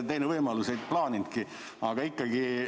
Teine võimalus, ei plaaninudki küsida, aga ikkagi.